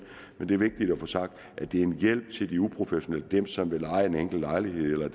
men det er vigtigt at få sagt at det er en hjælp til de uprofessionelle dem som vil leje en enkelt lejlighed eller